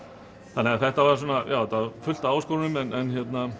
þetta var fullt af áskorunum en